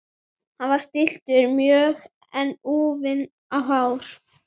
Hann var stilltur mjög en úfinn á hár.